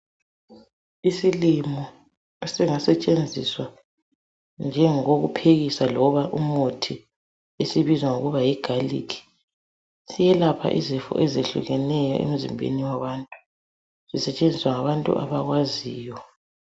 Isilimo esingasetshenziswa njengokokuphekisa loba umuthi esibizwa ngokuba yi galikhi ,siyelapha izifo ezehlukeneyo emzimbeni yabantu, sisetshenziswa ngabantu abakwaziyo